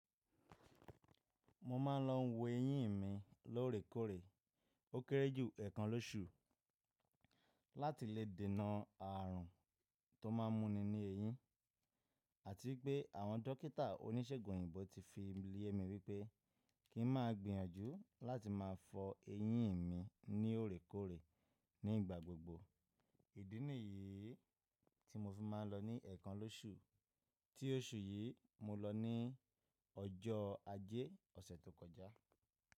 Mo má ń lọ wo eyín mi lóòrèkóòrè o kéré jù ẹ̀kan lóṣù láti lè dènà ààrùn tó má ń múni ní eyín àti pé àwọn dókítà oníṣègùn òyìnbó ti fi yemi wípé kín má gbìyànjú láti má fọ eyín mi ní òòrèkóòrè ní igbagbogbo. Idiniyi tí mo fi má ń lọ ní ẹ̀kan lóṣù tí oṣù yí mo lò ní ọjọ́ ajé ọ̀sẹ̀ tó kọjá.